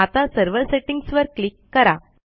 आता server settings वर click करा